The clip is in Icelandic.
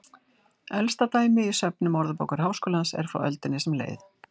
Elsta dæmi í söfnum Orðabókar Háskólans er frá öldinni sem leið.